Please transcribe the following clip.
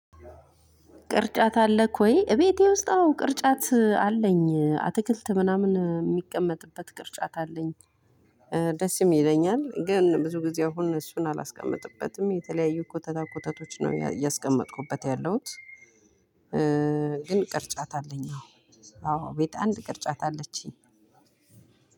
ቅርጫት አለኝ ወይ? እቤቴ ውስጥ አዎ ቅርጫት አለኝ አትክልት ምናምን የሚቀመጥበት ቅርጫት አለኝ። ደስ ይለኛል ግን ብዙ ጊዜ አሁን እሱን አላስቀመጥበትም የተለያዩ ኮተታ ኮተቶች ነው ያስቀመጥኩበት ያለሁት። ግን ቅርጫት አለኝ። አዎ ቤት አንድ ቅርጫት አለችኝ።